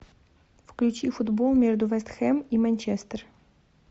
включи футбол между вест хэм и манчестер